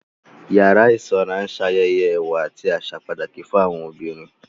Yàrá ìsanra ń ṣayẹyẹ ẹwà àti àṣà pàtàkì fún àwọn obìnrin